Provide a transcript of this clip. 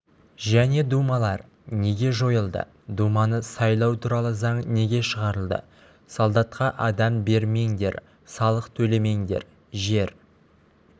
және думалар неге жойылды думаны сайлау туралы заң неге шығарылды солдатқа адам бермеңдер салық төлемеңдер жер